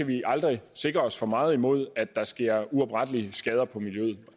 vi aldrig sikre os for meget imod at der sker uoprettelige skader på miljøet